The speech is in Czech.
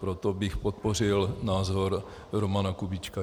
Proto bych podpořil názor Romana Kubíčka.